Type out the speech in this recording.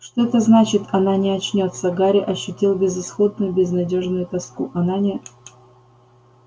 что это значит она не очнётся гарри ощутил безысходную безнадёжную тоску она не